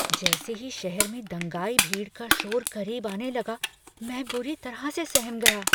जैसे ही शहर में दंगाई भीड़ का शोर करीब आने लगा, मैं बुरी तरह से सहम गया।